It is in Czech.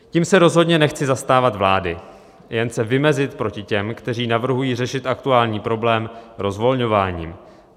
Tím se rozhodně nechci zastávat vlády, jen se vymezit proti těm, kteří navrhují řešit aktuální problém rozvolňováním.